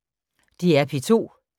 DR P2